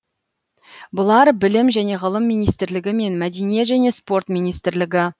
бұлар білім және ғылым министрлігі мен мәдениет және спорт министрлігі